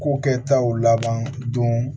Ko kɛ taw laban don